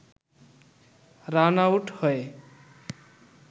run-out হয়ে